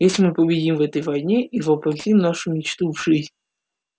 если мы победим в этой войне и воплотим нашу мечту